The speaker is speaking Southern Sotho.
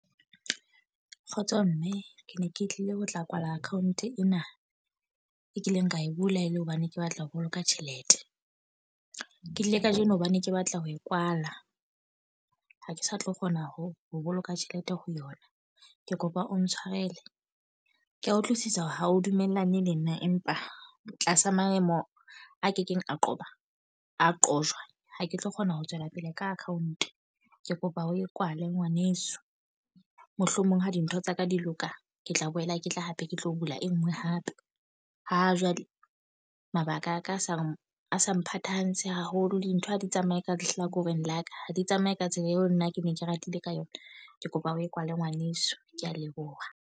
Kgotso mme, ke ne ke tlile ho tla kwala account ena. E kileng ka e bula e le hobane ke batla ho boloka tjhelete. Ke tlile ka jeno hobane ke batla ho e kwala. Ha ke sa tlo kgona ho ho boloka tjhelete ho yona. Ke kopa o ntshwarele, ke a utlwisisa hore ha o dumellane le nna. Empa tlasa maemo a kekeng a qoba a qojwa, ha ke tlo kgona ho tswela pele ka account. Ke kopa o e kwale ngwaneso. Mohlomong ha dintho tsaka di loka, ke tla boela ke tla hape ke tlo bula e nngwe hape. Ha jwale mabaka a ka a sa a sa mphatantshe haholo. Dintho ha di tsamaye ka lehlakoreng la ka, ha di tsamaye ka tsela eo nna ke ne ke ratile ka yona. Ke kopa o e kwale ngwaneso, ke a leboha.